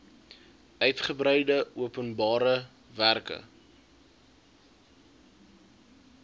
uigebreide openbare werke